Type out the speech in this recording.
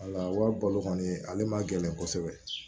Wala wari balo kɔni ale ma gɛlɛn kosɛbɛ